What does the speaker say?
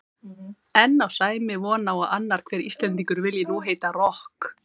En á Sæmi von á að annar hver Íslendingur vilji nú heita rokk?